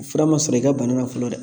Fura ma sɔrɔ i ka bana na fɔlɔ dɛ